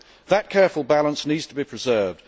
That careful balance needs to be preserved.